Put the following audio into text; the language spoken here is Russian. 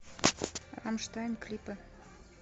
рамштайн клипы